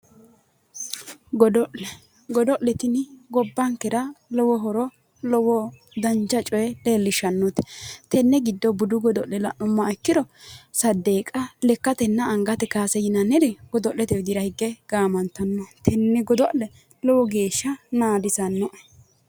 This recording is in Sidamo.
Godo'le, godo'le tinni gobbankera lowo horo lowo dancha coye leellishanote tene giddo budu godo'le la'nuummoha ikkiro sadeqa lekkatenna angate kawaase yinnanire godo'lete widira higge gaamantano, tene godo'le lowo geeshsha naadisanoe